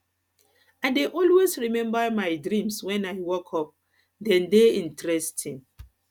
i dey always remember my dreams when i wake up dem dey interesting